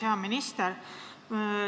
Hea minister!